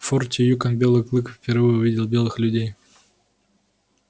в форте юкон белый клык впервые увидел белых людей